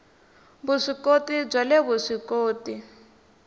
vuswikoti bya le vusw ikoti